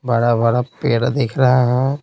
बड़ा-बड़ा पेड़ दिख रहा है।